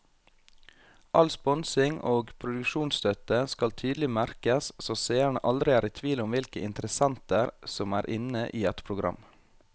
All sponsing og produksjonsstøtte skal tydelig merkes så seerne aldri er i tvil om hvilke interessenter som er inne i et program.